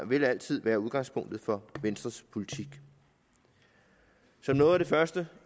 vil altid være udgangspunktet for venstres politik som noget af det første